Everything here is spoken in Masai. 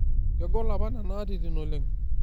'Kegol apa nena atitin oleng''.